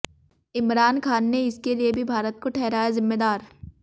इमरान खान ने इसके लिए भी भारत को ठहराया जिम्मेदार